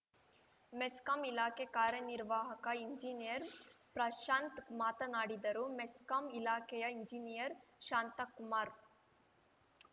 ಮೆಸ್ಕಾಂ ಇಲಾಖೆ ಕಾರ್ಯನಿರ್ವಾಹಕ ಇಂಜಿನಿಯರ್‌ ಪ್ರಶಾಂತ್‌ ಮಾತನಾಡಿದರು ಮೆಸ್ಕಾಂ ಇಲಾಖೆಯ ಇಂಜಿನಿಯರ್‌ ಶಾಂತಕುಮಾರ್‌